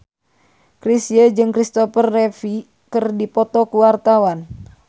Chrisye jeung Christopher Reeve keur dipoto ku wartawan